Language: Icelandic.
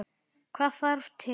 Hvað þarf til?